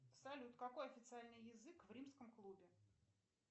салют какой официальный язык в римском клубе